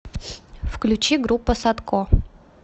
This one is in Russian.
включи группа садко